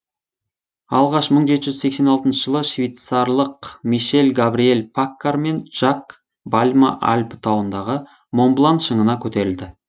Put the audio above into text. алғаш мың жеті жүз сексен алтыншы жылы швейцарлық мишель габриэль паккар мен жак бальма альпі тауындағы монблан шыңына көтерілді